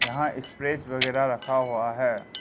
यहां स्प्रेज वगैरा रखा हुआ है।